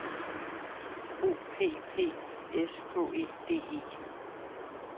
O P P I S K E D E